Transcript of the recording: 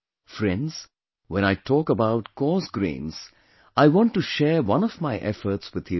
Friends, when I talk about coarse grains, I want to share one of my efforts with you today